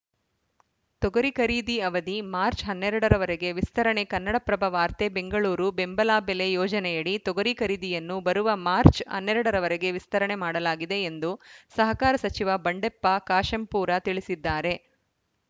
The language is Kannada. ತೊಗರಿ ಖರೀದಿ ಅವಧಿ ಮಾರ್ಚ್ ಹನ್ನೆರಡ ರವರೆಗೆ ವಿಸ್ತರಣೆ ಕನ್ನಡಪ್ರಭ ವಾರ್ತೆ ಬೆಂಗಳೂರು ಬೆಂಬಲ ಬೆಲೆ ಯೋಜನೆಯಡಿ ತೊಗರಿ ಖರೀದಿಯನ್ನು ಬರುವ ಮಾರ್ಚ್ ಹನ್ನೆರಡ ರವರೆಗೆ ವಿಸ್ತರಣೆ ಮಾಡಲಾಗಿದೆ ಎಂದು ಸಹಕಾರ ಸಚಿವ ಬಂಡೆಪ್ಪ ಕಾಶೆಂಪೂರ ತಿಳಿಸಿದ್ದಾರೆ